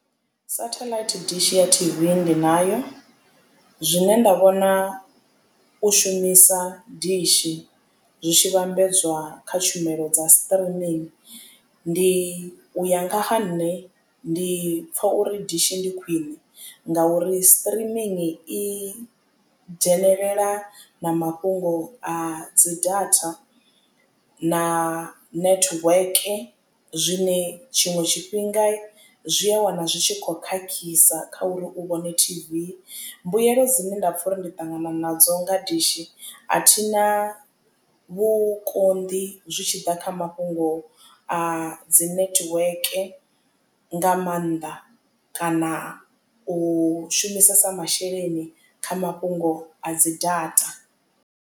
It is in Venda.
Satellite dishi ya T_V ndi nayo zwine nda vhona u shumisa dishi zwi tshi vhambedzwa kha tshumelo dza streaming ndi u ya nga ha nṋe ndi pfha uri dishi ndi khwiṋe ngauri streaming i dzhenelela na mafhungo a dzi data na network zwine tshiṅwe tshifhinga zwi a wana zwi tshi kho khakhisa kha uri u vhone T_V mbuyelo dzine nda pfha uri ndi ṱangana nadzo nga dishi a thina vhukonḓi zwi tshi ḓa kha mafhungo a dzi netiweke nga maanḓa kana u shumisesa masheleni kha mafhungo a dzi data.